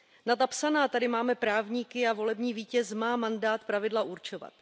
Na ta psaná tady máme právníky a volební vítěz má mandát pravidla určovat.